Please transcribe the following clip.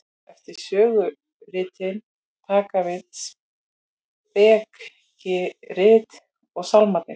eftir söguritin taka við spekirit og sálmarnir